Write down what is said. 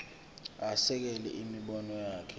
asekele imibono yakhe